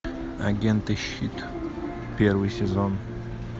агенты щит первый сезон